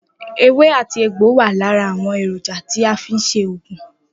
Ewé àti egbò wà lára àwon èrònja tí a fi n se ògùn.